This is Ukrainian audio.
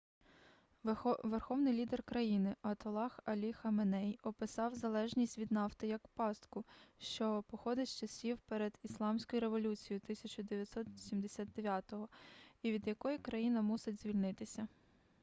верховний лідер країни атоллах алі хаменей описав залежність від нафти як пастку що походить з часів перед ісламською революцією 1979-го і від якої країна мусить звільнитися